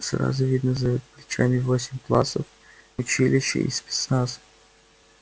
сразу видно за плечами восемь классов училище и спецназ